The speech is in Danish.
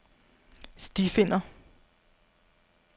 stifinder